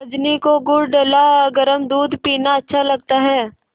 रजनी को गुड़ डला गरम दूध पीना अच्छा लगता है